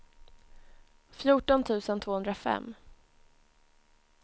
fjorton tusen tvåhundrafem